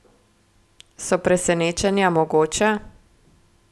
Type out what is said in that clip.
So presenečenja mogoča?